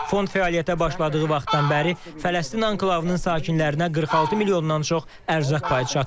Fond fəaliyyətə başladığı vaxtdan bəri Fələstin anklavının sakinlərinə 46 milyondan çox ərzaq payı çatdırıb.